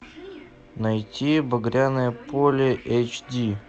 найти багряное поле эйч ди